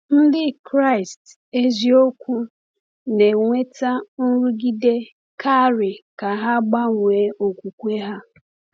Ndị Kraịst eziokwu na-enweta nrụgide karị ka ha gbanwee okwukwe ha.